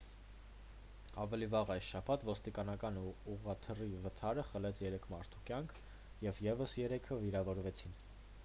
ավելի վաղ այս շաբաթ ոստիկանական ուղղաթիռի վթարը խլեց երեք մարդու կյանք և ևս երեքը վիրավորվեցին